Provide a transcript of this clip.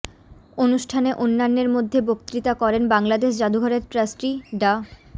অনুষ্ঠানে অন্যান্যের মধ্যে বক্তৃতা করেন বাংলাদেশ জাদুঘরের ট্রাস্টি ডা